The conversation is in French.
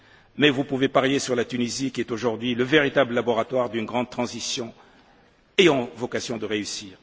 Mais vous pouvez parier sur la Tunisie, qui est aujourd'hui le véritable laboratoire d'une grande transition ayant vocation de réussir.